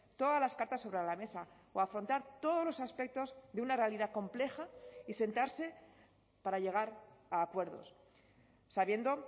todas las cartas sobre la mesa o afrontar todos los aspectos de una realidad compleja y sentarse para llegar a acuerdos sabiendo